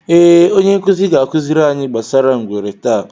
Ee, Onye nkuzi ga-akụziri anyị gbasara ngwere taa.